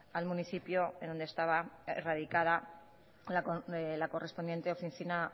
al municipio en donde estaba erradicada la correspondiente oficina